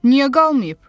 Niyə qalmayıb?